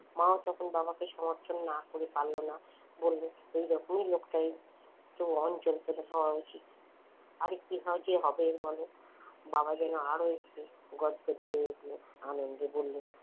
মাও তখন বাবাকে সমর্থন না করে পারল না বলল এইরকমই লোকটা বাবা যেন আরো একটু গদগদে হয়ে উঠলো আনন্দে বলল,